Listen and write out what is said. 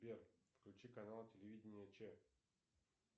сбер включи канал телевидения че